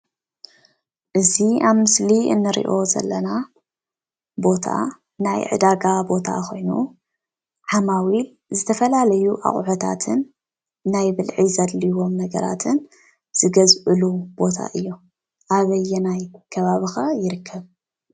እዚ ኣብ ምስሊ እንሪኦ ዘለና ቦታ ናይ ዕዳጋ ቦታ ኾይኑ ዓማዊል ዝተፈላለዩ ኣቑሑታትን ናይ ብልዒ ዘድልዮዎም ነገራትን ዝገዝእሉ ቦታ እዩ፡፡ ኣበየናይ ከባቢ ኸ ይርከብ?